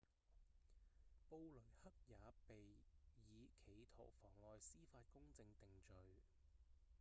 布雷克也被以企圖妨礙司法公正定罪